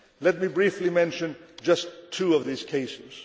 Let me briefly mention just two of these cases.